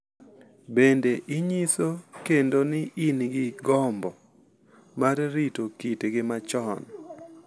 Bende, ginyiso kendo ni gin gi gombo mar rito kitgi machon .